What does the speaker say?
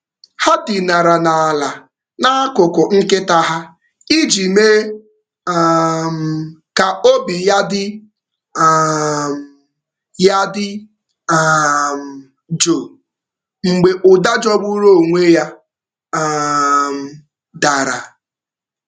Ha dinara n’ala n’akụkụ nkịta ha nkịta ha iji mee ka obi ya dị jụụ mgbe ụda jọgburu onwe ya dara.